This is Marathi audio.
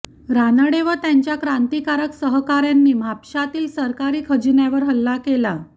रानडे व त्यांच्या क्रांतिकारक सहकाऱयांनी म्हापशातील सरकारी खजिन्यावर हल्ला केला